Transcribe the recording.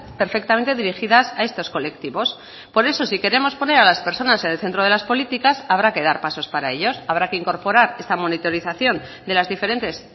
perfectamente dirigidas a estos colectivos por eso si queremos poner a las personas en el centro de las políticas habrá que dar pasos para ellos habrá que incorporar esta monitorización de las diferentes